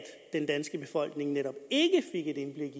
den danske befolkning netop ikke